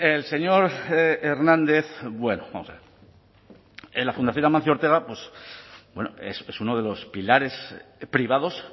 el señor hernández bueno vamos a ver la fundación amancio ortega es uno de los pilares privados